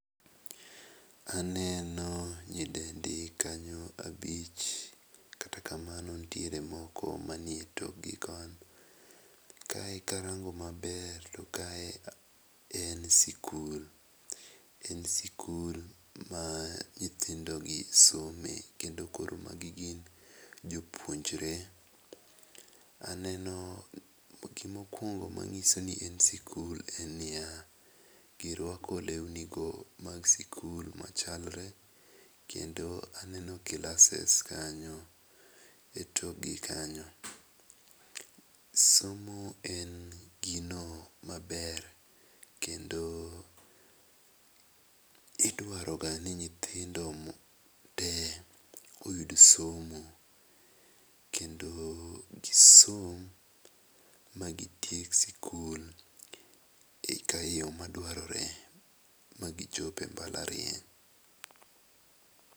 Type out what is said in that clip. Aneno nyidendi kanyo abich kata kamano nitiere moko mane ee toki koni, kae karango maber to kae en skul en skul maa nyithindo gi some kedo maki gin jopuonjre, aneno gi mokwongo ma nyiso ni maye skul, en ni ya girwako lewni machalre kendo aneno klases kanyo e tok gi kanyo .Somo en gi ma ber kendo idwaro ga ni nyithindo mo te oyud somo, kendo ki somo ma kitieko skul eka yo madwarore ma gi chope e mbalariany